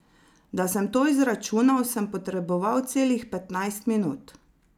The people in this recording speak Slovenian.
Da sem to izračunal, sem potreboval celih petnajst minut.